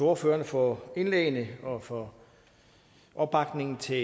ordførerne for indlæggene og for opbakningen til